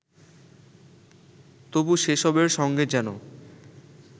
তবু সেসবের সঙ্গে যেন